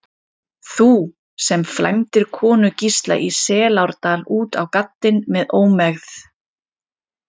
Þú, sem flæmdir konu Gísla í Selárdal út á gaddinn með ómegð.